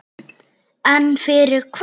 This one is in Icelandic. En fyrir hvað?